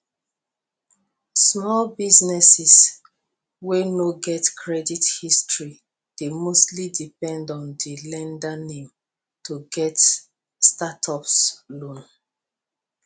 small businesses wey no get credit history dey mostly depend on di lender name to get stsrtup loan